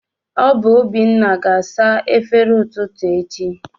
Ọ bụ Obinna ga-asa efere ụtụtụ echi